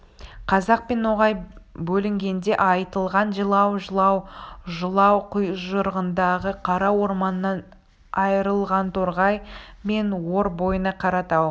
қазақ пен ноғай бөлінгенде айтылған жылау жылау жылау күйжырындағы қара орманынан айрылғанторғай мен ор бойына қаратау